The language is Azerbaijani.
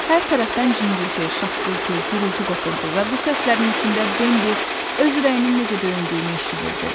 Hər tərəfdən cingilti, şaqqıltı, gurultu qopurdu və bu səslərin içində Bembi öz ürəyinin necə döyündüyünü eşidirdi.